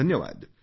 धन्यवाद